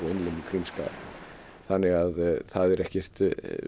innlimun Krímskaga þannig að það er ekkert